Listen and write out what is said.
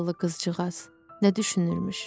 Zavallı qızcığaz nə düşünürmüş?